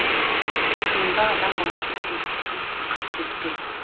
шынында адам баласы сөзсіз қасіретте